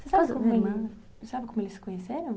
Você sabe como eles se conheceram?